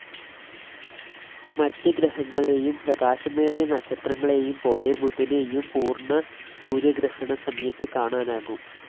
മറ്റ് ഗ്രഹങ്ങളെയും പ്രകാശമേറിയ നക്ഷത്രങ്ങളെയും പോലെ ബുധനെയും പൂർണ്ണ സൂര്യഗ്രഹണസമയത്ത് കാണാനാകും